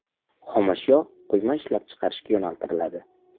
Xomashyo quyma ishlab chiqarishga yo‘naltiriladi.